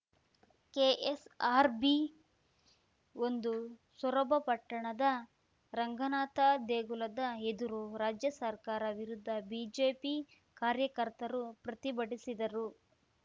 ಕೆಎಸ್‌ಆರ್‌ಬಿಒಂದು ಸೊರಬ ಪಟ್ಟಣದ ರಂಗನಾಥ ದೇಗುಲದ ಎದುರು ರಾಜ್ಯ ಸರ್ಕಾರ ವಿರುದ್ಧ ಬಿಜೆಪಿ ಕಾರ್ಯಕರ್ತರು ಪ್ರತಿಭಟಿಸಿದರು